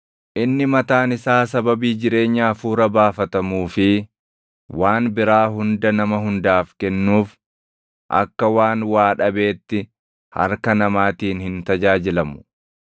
Inni mataan isaa sababii jireenya hafuura baafatamuu fi waan biraa hunda nama hundaaf kennuuf akka waan waa dhabeetti harka namaatiin hin tajaajilamu.